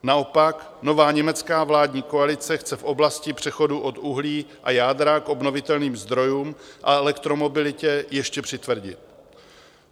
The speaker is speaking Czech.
Naopak, nová německá vládní koalice chce v oblasti přechodu od uhlí a jádra k obnovitelným zdrojům a elektromobilitě ještě přitvrdit.